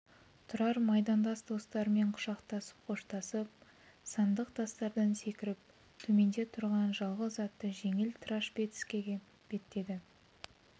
тұрар майдандас достарымен құшақтасып қоштасып сандық тастардан секіріп төменде тұрған жалғыз атты жеңіл трашпецкеге беттеді